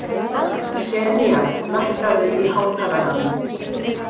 Senía, lækkaðu í hátalaranum.